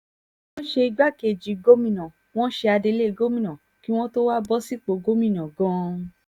wọ́n ṣe igbákejì gómìnà wọn ṣe adelé gómìnà kí wọ́n tóó wáá bọ́ sípò gómìnà gan-an